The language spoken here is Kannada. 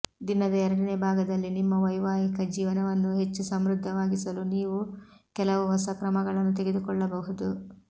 ದಿನದ ಎರಡನೇ ಭಾಗದಲ್ಲಿ ನಿಮ್ಮ ವೈವಾಹಿಕ ಜೀವನವನ್ನು ಹೆಚ್ಚು ಸಮೃದ್ಧವಾಗಿಸಲು ನೀವು ಕೆಲವು ಹೊಸ ಕ್ರಮಗಳನ್ನು ತೆಗೆದುಕೊಳ್ಳಬಹುದು